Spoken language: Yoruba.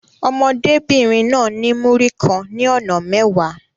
Ọmọdébìnrin náà ní Múrí kan ní ọ̀nà mẹ́wàá.